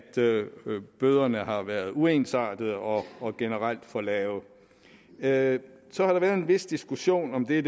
bøderne har været uensartede og og generelt for lave lave så har der været en vis diskussion om det